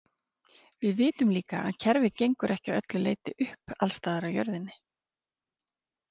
Við vitum líka að kerfið gengur ekki að öllu leyti upp alls staðar á jörðinni.